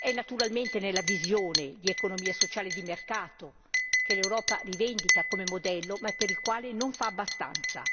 È naturalmente la visione di economia sociale e di mercato che l'Europa rivendica come modello, ma per il quale non fa abbastanza.